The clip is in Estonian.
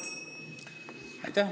Aitäh!